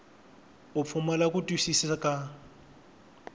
u pfumala ku twisisa ka